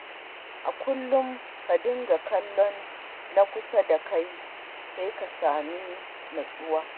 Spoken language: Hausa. A kullum ka dinga kallon na ƙasa da kai, sai ka sami nutsuwa.